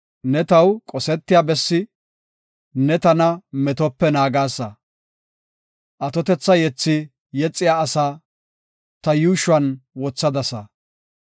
Ne taw qosetiya bessi; ne tana metope naagasa. Atotetha yethi yexiya asaa ta yuushuwan wothadasa. Salaha